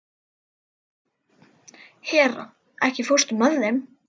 Hera, ekki fórstu með þeim?